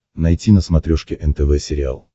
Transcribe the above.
найти на смотрешке нтв сериал